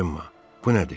Cemma, bu nədir?